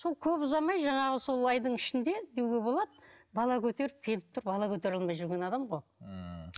сол көп ұзамай жаңағы сол айдың ішінде деуге болады бала көтеріп келіп тұр бала көтере алмай жүрген адам ғой ммм